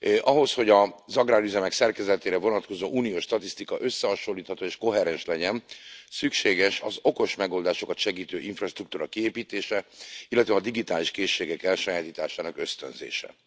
Ahhoz, hogy az agrárüzemek szerkezetére vonatkozó uniós statisztika összehasonlítható és koherens legyen, szükséges az okos megoldásokat segítő infrastruktúra kiépítése, illetve a digitális készségek elsajátításának ösztönzése.